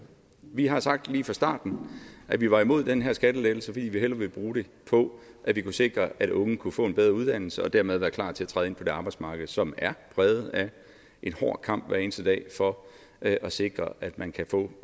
vi har sagt lige fra starten at vi var imod den her skattelettelse fordi vi hellere vil bruge det på at vi kunne sikre at unge kunne få en bedre uddannelse og dermed være klar til at træde ind på det arbejdsmarked som er præget af en hård kamp hver eneste dag for at at sikre at man kan få